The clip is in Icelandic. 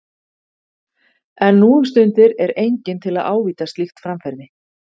En nú um stundir er enginn til að ávíta slíkt framferði.